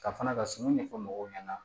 Ka fana ka suman ɲɛfɔ mɔgɔw ɲɛna